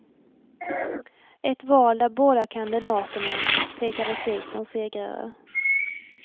Ett val där båda kandidaterna pekades ut som segrare.